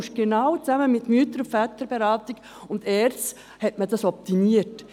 Man hatte es genau zusammen mit der Mütter- und Väterberatung und der ERZ optimiert.